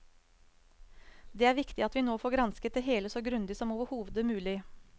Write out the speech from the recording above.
Det er viktig at vi nå får gransket det hele så grundig som overhodet mulig.